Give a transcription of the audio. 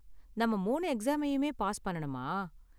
நாம மூணு எக்ஸாமையுமே பாஸ் பண்ணனுமா?